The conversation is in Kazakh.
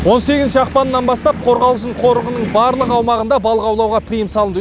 он сегізінші ақпаннан бастап қорғалжын қорығының барлық аумағында балық аулауға тыйым салынды